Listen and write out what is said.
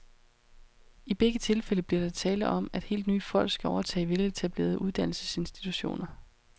I begge tilfælde bliver der tale om, at helt nye folk skal overtage ellers veletablerede uddannelsesinstitutioner.